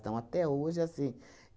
Então, até hoje é assim.